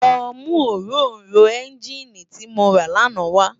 Lò mú óróró ènginí ti mó rá làná wá